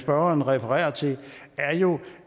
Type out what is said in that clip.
spørgeren refererer til er jo